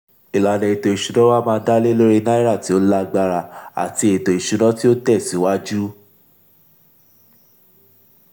ìlànà ètò ìsúná wá má dá lé lórí náírà tí ó lágbára àti ètò ìsúná tí ó tẹ síwájú.